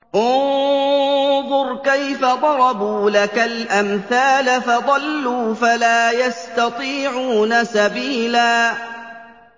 انظُرْ كَيْفَ ضَرَبُوا لَكَ الْأَمْثَالَ فَضَلُّوا فَلَا يَسْتَطِيعُونَ سَبِيلًا